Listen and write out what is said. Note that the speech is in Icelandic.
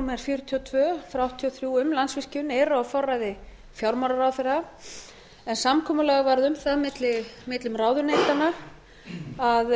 númer fjörutíu og tvö nítján hundruð áttatíu og þrjú um landsvirkjun eru á forræði fjármálaráðherra en samkomulag varð um það millum ráðuneytanna að